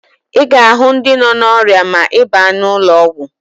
Ị ga-ahụ ndị nọ n'ọrịa ma ị baa n'ụlọọgwụ